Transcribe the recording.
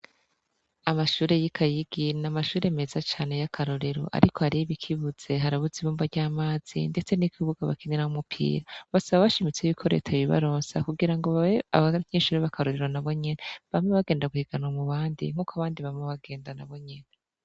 Amashure y’ikayi yigiye, n’amahure meza cane y’akarorero ariko hariyo ibikibuze, harabuze ibumba ry’amazi ndetse n’ikibuga bakiniramwo umupira . Basaba bashimitse ko reta yobibaronsa kugira ngo babe abanyeshure bakarorero nabo nyene, bame bagenda guhiganwa mubandi nkuko nabandi bama bagenda nabo nyene.